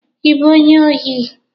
Ị bụ onye ohi?